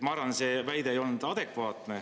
Ma arvan, et see väide ei olnud adekvaatne.